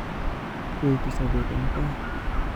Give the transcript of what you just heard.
Uitu sobet eng taa